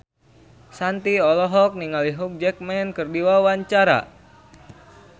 Shanti olohok ningali Hugh Jackman keur diwawancara